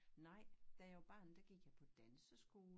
Nej da jeg var barn da gik jeg på danseskole